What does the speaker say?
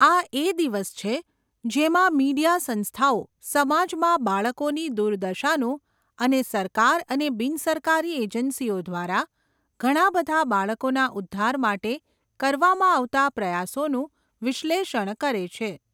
આ એ દિવસ છે જેમાં મીડિયા સંસ્થાઓ સમાજમાં બાળકોની દુર્દશાનું અને સરકાર અને બિન સરકારી એજન્સીઓ દ્વારા ઘણા બધા બાળકોના ઉધ્ધાર માટે કરવામાં આવતા પ્રયાસોનું વિશ્લેષણ કરે છે.